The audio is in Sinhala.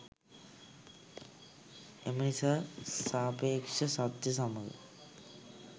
එම නිසා සාපේක්ෂ සත්‍ය සමග